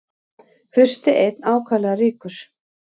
Fursti einn ákaflega ríkur.